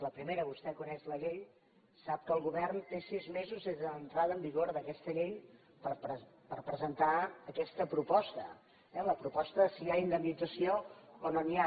la primera vostè coneix la llei sap que el govern té sis mesos des de l’entrada en vigor d’aquesta llei per presentar aquesta proposta eh la proposta de si hi ha indemnització o no n’hi ha